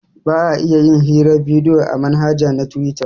Ba a iya yin hirar bidiyo a manhaja na tuwita